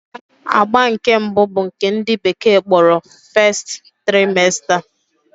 Agba nke mbụ bụ nke ndị bekee kpọrọ 'First Trimester'